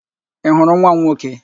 Ị hụrụ nwa m nwoke?